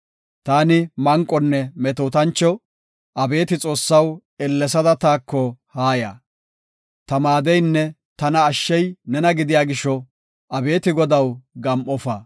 Taani manqonne metootancho; abeeti Xoossaw, ellesada taako haaya. Ta maadeynne tana ashshey nena gidiya gisho; abeeti Godaw, gam7ofa.